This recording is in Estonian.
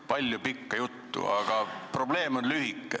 Palju pikka juttu, aga probleem on lühike.